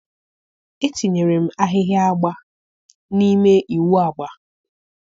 etinyere m ahịhịa agba n'ime ịwụ agba